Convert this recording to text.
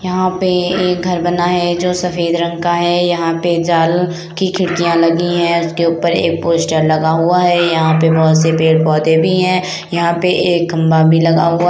यहा पे एक घर बना है जो सफ़ेद रंग का है यहा पे जाल की खिड़किया लगी है उसके ऊपर एक पोस्टर लगा हुआ है यहा पे बहुत से पेड-पौधे भी है यहा पे एक खम्बा भी लगा हुआ--